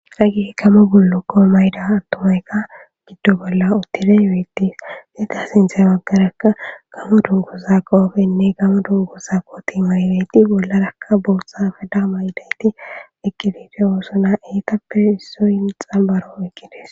Haggeyi gammon bullukko mayidda attumayika oyidde bolla uttidi bettes iza sinththerakka gammo dunguzza qobe nne gammo dunguzza kotte mayidda bollaraka boththa affela mayidayiti eqqidi bettosona etappe issoyi xambbaro oyqqides.